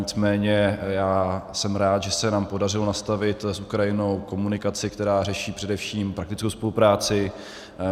Nicméně já jsem rád, že se nám podařilo nastavit s Ukrajinou komunikaci, která řeší především praktickou spolupráci.